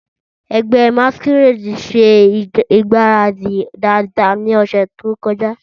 Ẹgbẹ́ masquerade ṣe ìgbáradì dáadáa ní ọ̀sẹ̀ tó kọjá.